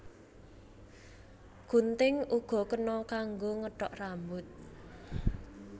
Gunting uga kena kanggo ngethok rambut